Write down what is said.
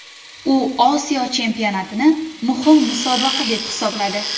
U Osiyo Chempionatini muhim musobaqa deb hisobladi.